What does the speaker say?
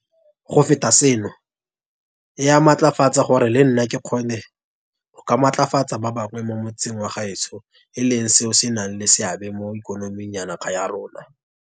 Go feta seno, e a mmatlafatsa gore le nna ke kgone go ka matlafatsa ba bangwe mo motseng wa gaetsho e leng seo se nang le seabe mo ikonoming ya naga ya rona,